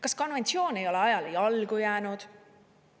Kas konventsioon ei ole ajale jalgu jäänud?